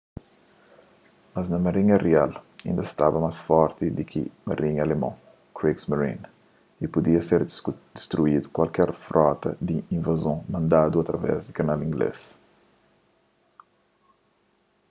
mas marinha rial inda staba más forti di ki marinha alemon kriegsmarine” y pudia ter distruidu kualker frota di invazon mandadu através di kanal inglês